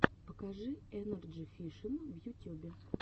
покажи энерджи фишин в ютюбе